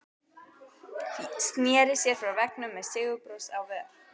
Sneri sér frá veggnum með sigurbros á vör.